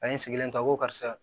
A ye n sigilen ta ko karisa